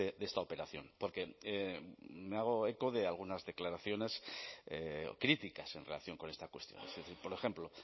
de esta operación porque me hago eco de algunas declaraciones críticas en relación con esta cuestión por ejemplo